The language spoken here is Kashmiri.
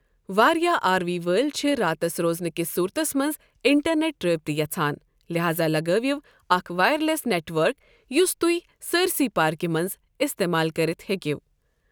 وارِیاہ آر وی وٲلۍ چھِ راتس روزنہٕ كِس صورتس منٛز اِنٹرنیٹ رٲبطہٕ یژھان لہاذا لگٲوِو اكھ وایر لی٘س نیٹ ؤرک یُس تُہۍ سٲرسٕے پاركہِ منز استعمال كٔرِتھ ہیكِو ۔